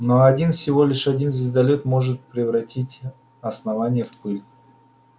но один всего лишь один звездолёт может превратить основание в пыль